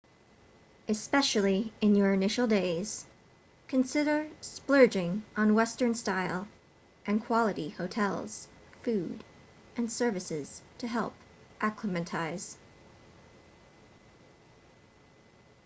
especially in your initial days consider splurging on western-style and quality hotels food and services to help acclimatize